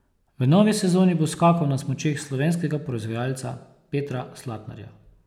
V novi sezoni bo skakal na smučeh slovenskega proizvajalca Petra Slatnarja.